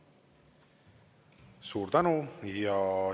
Suur tänu!